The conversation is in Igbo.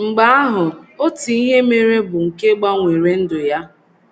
Mgbe ahụ, otu ihe mere bụ́ nke gbanwere ndụ ya.